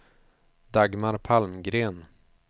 Dagmar Palmgren